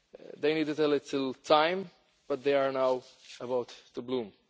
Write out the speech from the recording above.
They needed a little time but they are now about to bloom.